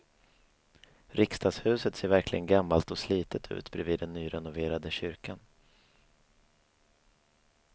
Riksdagshuset ser verkligen gammalt och slitet ut bredvid den nyrenoverade kyrkan.